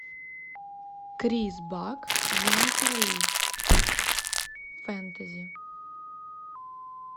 крис бак дженнифер ли фэнтези